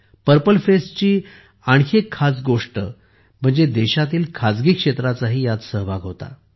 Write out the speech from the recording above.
purple फेस्टची एक खास गोष्ट म्हणजे देशातील खाजगी क्षेत्राचाही ह्यात सहभाग होता